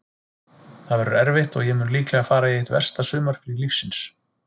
Það verður erfitt og ég mun líklega fara í eitt versta sumarfrí lífsins.